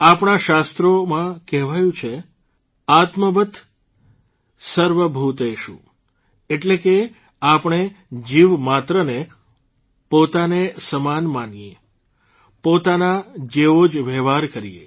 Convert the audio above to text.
આપણા શાસ્ત્રોમાં કહેવાયું છે आत्मवत् सर्वभूतेषु એટલે કે આપણે જીવમાત્રને પોતાને સમાન માનીએ પોતાના જેવો જ વ્યવહાર કરીએ